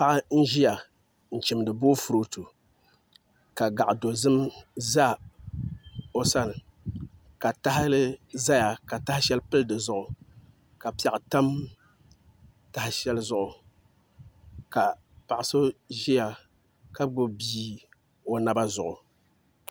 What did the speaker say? Paɣa n ʒiya n chimdi boofurooto ka gaɣa dozim za o sani ka tahali ʒɛya ka taha shɛli pili dizuɣu ka piɛɣu tam taha shɛli zuɣu ka paɣa so ʒiya ka gbubi bia o naba zuɣu